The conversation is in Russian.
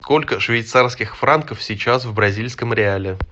сколько швейцарских франков сейчас в бразильском реале